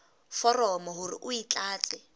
foromo hore o e tlatse